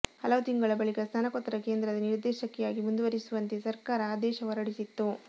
ಹಲವು ತಿಂಗಳ ಬಳಿಕ ಸ್ನಾತಕೋತ್ತರ ಕೇಂದ್ರದ ನಿರ್ದೇಶಕಿಯಾಗಿ ಮುಂದುವರಿಸುವಂತೆ ಸರಕಾರ ಆದೇಶ ಹೊರಡಿಸಿತ್ತು